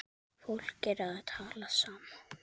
Fólk er að tala saman.